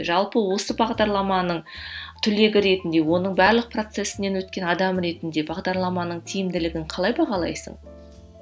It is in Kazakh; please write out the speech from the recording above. жалпы осы бағдарламаның түлегі ретінде оның барлық процессінен өткен адам ретінде бағдарламаның тиімділігін қалай бағалайсың